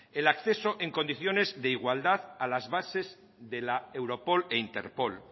el acceso en condiciones de igualdad a las bases de la europol e interpol